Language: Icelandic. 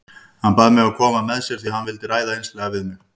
Hann bað mig að koma með sér því hann vildi ræða einslega við mig.